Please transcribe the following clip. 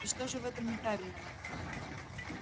и что же в этом неправильного